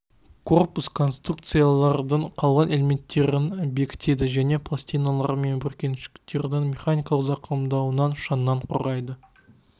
корпус конструкциялардың қалған элементтерін бекітеді және пластиналар мен бүркеншіктердің механикалық зақымдануынан шаңнан қорғайды